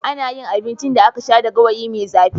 Ana yin abincin da aka sha da gawayi mai zafi.